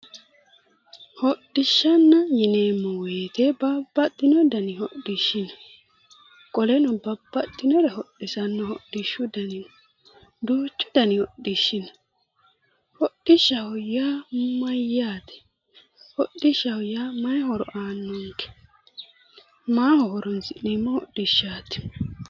Hodhishanna yineemo woyite babbaxino dani hodhishi no qoleno babbaxinore hodhisano hodhishu dani no duuchudani hodhishi no hodhishaho yaa mayyaate hodhishaho yaa mahi horo aanonikke? maaho horonisi'neemo hodhishaat?